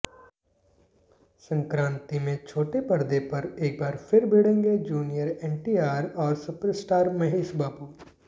संक्रांति में छोटे पर्दे पर एक बार फिर भिड़ेंगे जूनियर एनटीआर और सुपरस्टार महेश बाबू